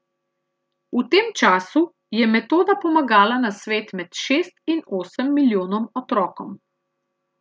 V tem času je metoda pomagala na svet med šest in osem milijonom otrokom.